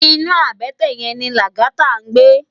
Inú àbètè yèn ni Lagata ngbé